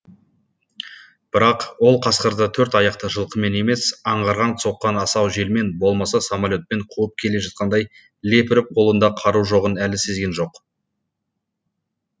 бірақ ол қасқырды төрт аяқты жылқымен емес аңғардан соққан асау желмен болмаса самолетпен қуып келе жатқандай лепіріп қолында қару жоғын әлі сезген жоқ